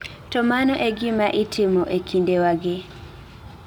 To mano e gima itimo e kindewagi.